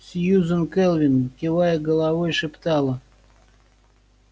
сьюзен кэлвин кивая головой шептала